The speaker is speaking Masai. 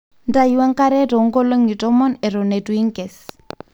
ntayu enkare too nkolongi tomon eton eitu inkes